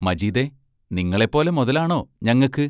മജീദേ, നിങ്ങളെപ്പോലെ മൊതലാണോ ഞങ്ങക്ക്?